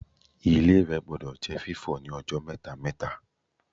Ilé-ìwẹ̀ gbọdọ̀ jẹ́ fífọ̀ ní ọjọ́ mẹ́ta-mẹ́ta